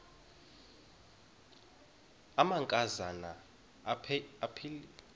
amanka zana aphilele